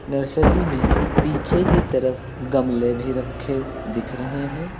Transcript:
Nursery में पीछे की तरफ गमले भी रखे दिख रहे हैं।